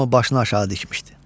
Hamı başını aşağı dikmişdi.